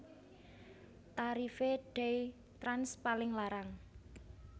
Tarife DayTrans paling larang